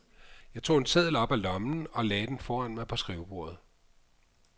Jeg tog en seddel op af lommen og lagde den foran mig på skrivebordet.